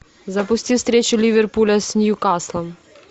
запусти встречу ливерпуля с ньюкаслом